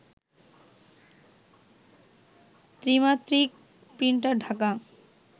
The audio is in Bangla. ত্রিমাত্রিক প্রিন্টার ঢাকা